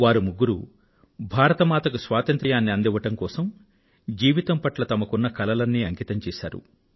వారు ముగ్గురూ భారత మాతకు స్వతంత్య్రాన్ని అందివ్వడం కోసం జీవితం పట్ల తమకున్న కలలన్నీ అంకితం చేశారు